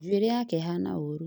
Njuĩrĩ yake ĩhana ũrũ